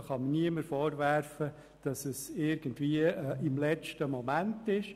Es kann mir also niemand vorwerfen, ich hätte den Eventualantrag im letzten Moment gestellt.